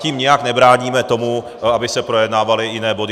Tím nijak nebráníme tomu, aby se projednávaly jiné body.